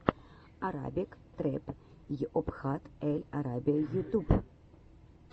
арабик трэп йобхат эль арабия ютуб